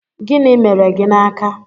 Gịnị mere gị n'aka?